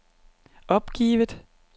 opgivet